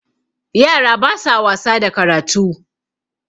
yara ba sa wasa da karatu